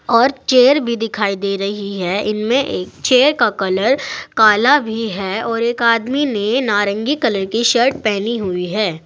और चेयर भी दिखाई दे रही है इनमें एक चेयर का कलर काला भी है और एक आदमी ने नारंगी कलर की शर्ट पहनी हुई है।